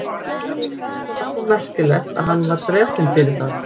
Það var svo merkilegt að hann var drepinn fyrir það?